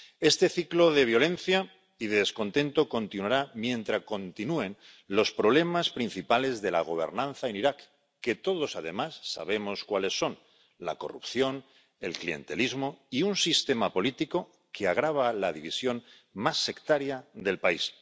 Este ciclo de violencia y descontento continuará mientras continúen los problemas principales de la gobernanza en Irak, que todos, además, sabemos cuáles son la corrupción, el clientelismo y un sistema político que agrava la división más sectaria del país.